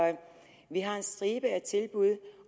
vi har en stribe af tilbud